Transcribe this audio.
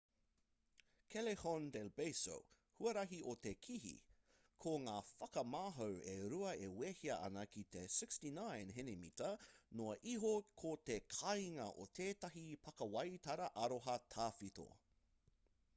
callejon del beso huarahi o te kihi. ko ngā whakamahau e rua e wehea ana ki te 69 henimita noa iho ko te kāinga o tētahi pakiwaitara aroha tawhito